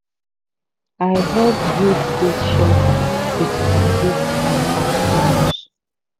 i help build goat shelter with bamboo and palm fronds